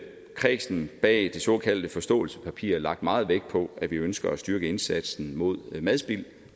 kredsen bag det såkaldte forståelsespapir lagt meget vægt på at vi ønsker at styrke indsatsen mod madspil